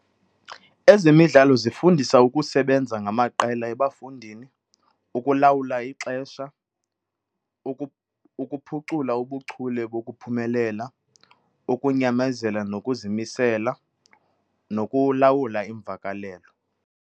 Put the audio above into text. Ezemidlalo zifundisa ukusebenza ngamaqela ebafundini, ukulawula ixesha, ukuphucula ubuchule bokuphumelela, ukunyamezela nokuzimisela nokulawula iimvakalelo.